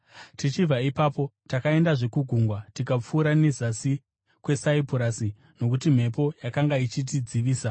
Tichibva ipapo takaendazve kugungwa tikapfuura nezasi kweSaipurasi, nokuti mhepo yakanga ichitidzivisa.